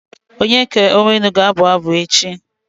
Onyeka Onwenu ga-abụ echi.